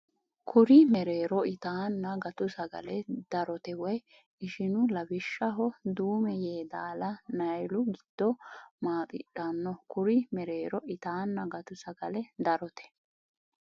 Kuri mereero ittanna gattu sagale darote woy ishinu lawishshaho Duume Yeedaala Niyaalu giddo maaxidhanno Kuri mereero ittanna gattu sagale darote.